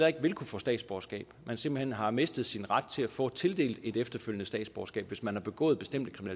ikke vil kunne få statsborgerskab altså man simpelt hen har mistet sin ret til at få tildelt et efterfølgende statsborgerskab hvis man har begået bestemte